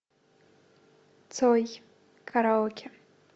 цой караоке